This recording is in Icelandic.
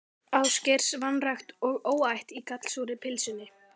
Ásgeirs, vanrækt og óæt í gallsúrri pylsunni.